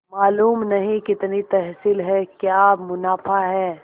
मालूम नहीं कितनी तहसील है क्या मुनाफा है